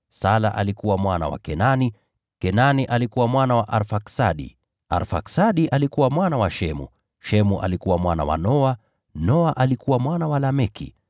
Sala alikuwa mwana wa Kenani, Kenani alikuwa mwana wa Arfaksadi, Arfaksadi alikuwa mwana wa Shemu, Shemu alikuwa mwana wa Noa, Noa alikuwa mwana wa Lameki,